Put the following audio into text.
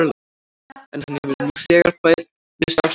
En hann hefur nú þegar beðist afsökunar.